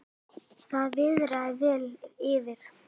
Það viðrar vel fyrir